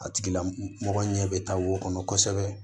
A tigila mɔgɔ ɲɛ bɛ taa wo kɔnɔ kosɛbɛ